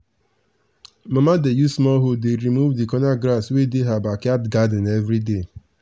mama dey use small hoe dey remove the corner grass wey dey her backyard garden every day.